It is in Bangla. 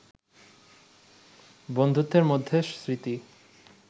বন্ধুত্বের মধ্যে স্মৃতি